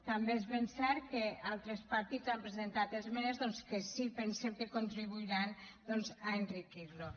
també és ben cert que altres partits han presentat esmenes doncs que sí que pensem que contribuiran a enriquir lo